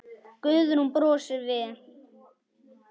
Guðrún brosir við.